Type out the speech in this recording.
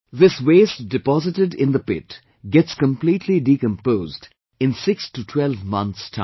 This waste deposited in the pit gets completely decomposed in six to twelve months time